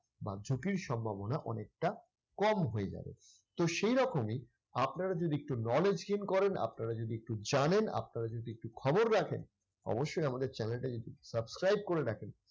বা ঝুঁকির সম্ভাবনা অনেকটা কম হয়ে যাবে। তো সেই রকমই আপনারা যদি একটু knowledge gain করেন, আপনারা যদি একটু জানেন, আপনারা যদি একটু খবর রাখেন অবশ্যই আমাদের channel টা একটু subscribe করে রাখেন।